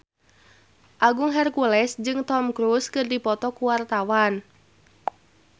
Agung Hercules jeung Tom Cruise keur dipoto ku wartawan